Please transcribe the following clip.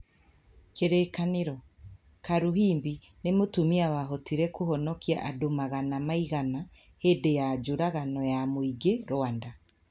Kĩririkano: Karuhimbi nĩ mũtumia wahotire kũhonokia andũ magana maigana hĩndĩ ya njũragano ya mũingĩ Rwanda.